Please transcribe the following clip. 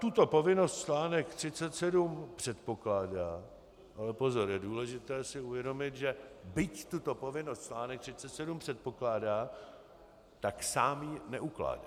Tuto povinnost článek 37 předpokládá - ale pozor, je důležité si uvědomit, že byť tuto povinnost článek 37 předpokládá, tak sám ji neukládá.